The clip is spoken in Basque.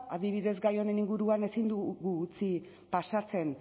adibidez gai honen inguruan ezin dugu utzi pasatzen